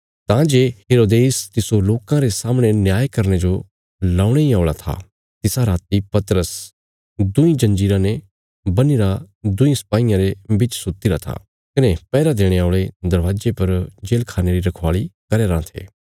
तां जे हेरोदेस तिस्सो लोकां रे सामणे न्याय करने जो ल्यौणे इ औल़ा था तिसा राति पतरस दुईं जंजीराँ ते बन्हीरा दुईं सपाहियां रे बिच सुतीरा था कने पैहरा देणे औल़े दरवाजे पर जेल खाणे री रखवाली करया राँ थे